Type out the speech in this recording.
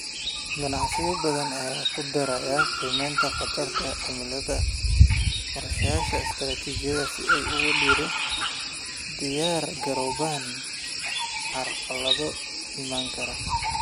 Ganacsiyo badan ayaa ku daraya qiimaynta khatarta cimilada qorshahooda istiraatijiyadeed si ay ugu diyaar garoobaan carqalado iman kara.